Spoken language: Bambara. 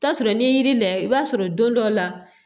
Taa sɔrɔ n'i ye yiri layɛ i b'a sɔrɔ don dɔ la